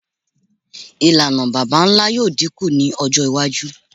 Ilana baba-nla yoo dinku ni ọjọ iwaju